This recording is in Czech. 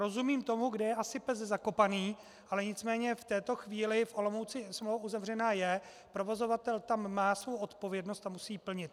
Rozumím tomu, kde je asi pes zakopaný, ale nicméně v této chvíli v Olomouci smlouva uzavřená je, provozovatel tam má svou odpovědnost a musí ji plnit.